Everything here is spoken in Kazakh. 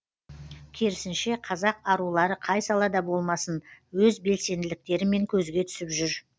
керісінше қазақ арулары қай салада болмасын өз белсенділіктерімен көзге түсіп жүр